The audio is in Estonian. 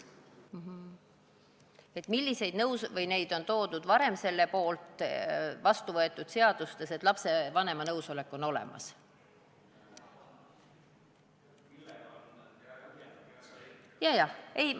Et milliseid kaalutlusi on vastuvõetud seadustes varem toodud selle poolt, et lapsevanema nõusolek peab olema olemas?